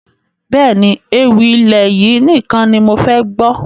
Bẹ́ẹ̀ni, ewì ilẹ̀ yìí nìkan ni mofẹ gbọ́